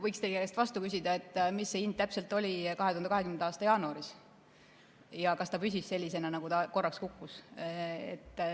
Võiks teie käest vastu küsida, mis see hind 2020. aasta jaanuaris täpselt oli ja kas ta püsis sellisena, nagu ta korraks kukkus.